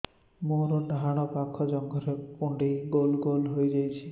ମୋର ଡାହାଣ ପାଖ ଜଙ୍ଘରେ କୁଣ୍ଡେଇ ଗୋଲ ଗୋଲ ହେଇଯାଉଛି